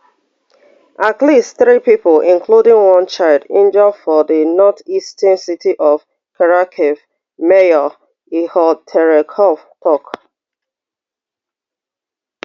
at least three pipo including one child injure for di northeastern city of kharkiv mayor ihor terekhov tok